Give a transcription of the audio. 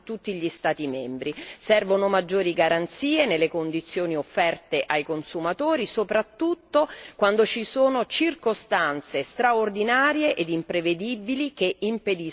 Servono maggiori garanzie nelle condizioni offerte ai consumatori, soprattutto quando ci sono circostanze straordinarie e imprevedibili che impediscono il rientro.